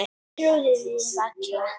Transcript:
Ég trúði því varla.